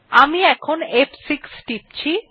আমি এখন ফ6 টিপছি